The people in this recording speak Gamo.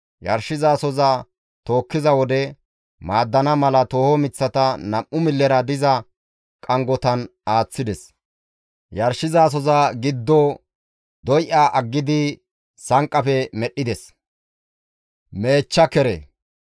Yarshizasoza tookkiza wode maaddana mala tooho miththata nam7u millera diza qanggotan aaththides. Yarshizasoza giddo doy7a aggidi sanqqafe medhdhides.